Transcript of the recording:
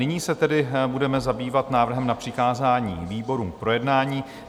Nyní se tedy budeme zabývat návrhem na přikázání výborům k projednání.